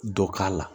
Dɔ k'a la